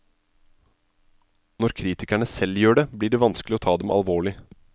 Når kritikerne selv gjør det, blir det vanskelig å ta dem alvorlig.